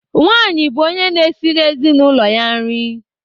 Nwanyị bụ onye na-esiri ezinụlọ ya nri.